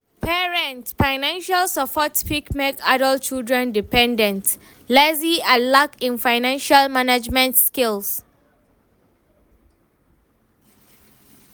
Parents' financial support fit make adult children dependent, lazy and lack in financial management skills.